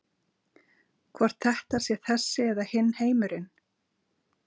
Hvort þetta sé þessi eða hinn heimurinn.